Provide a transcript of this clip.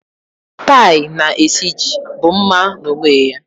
Tie na esiji bụ mma n'onwe ya.